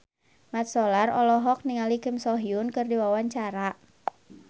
Mat Solar olohok ningali Kim So Hyun keur diwawancara